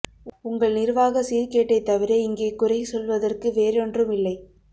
உங்கள் நிர்வாக சீர்கேட்டைத் தவிர இங்கே குறை சொல்வதற்கு வேறொன்றும் இல்லை